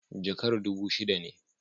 Jakar dubu shida ne.